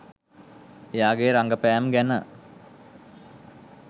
එයාගේ රගපෑම් ගැන